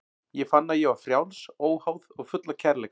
Ég fann að ég var frjáls, óháð og full af kærleika.